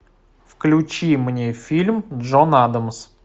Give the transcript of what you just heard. включи мне фильм джон адамс